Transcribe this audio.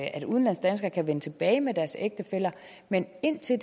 at udlandsdanskere kan vende tilbage med deres ægtefæller men indtil